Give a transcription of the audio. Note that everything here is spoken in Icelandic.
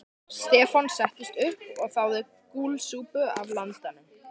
Stefán settist upp og þáði gúlsopa af landanum.